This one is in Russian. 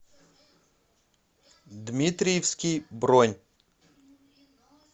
дмитриевский бронь